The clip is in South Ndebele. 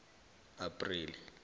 apreli